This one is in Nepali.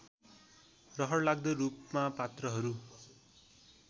रहरलाग्दो रूपमा पात्रहरू